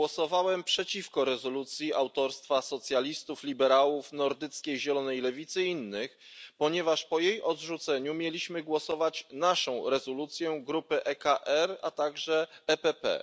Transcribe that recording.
Głosowałem przeciwko rezolucji autorstwa socjalistów, liberałów, Nordyckiej Zielonej Lewicy i innych, ponieważ po jej odrzuceniu mieliśmy głosować nad naszą rezolucją, grupy ECR, a także PPE.